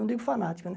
Não digo fanático, né?